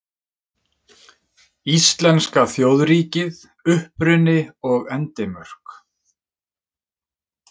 Íslenska þjóðríkið: Uppruni og endimörk.